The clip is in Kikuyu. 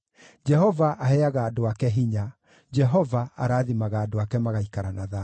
Jehova aheaga andũ ake hinya; Jehova arathimaga andũ ake magaikara na thayũ.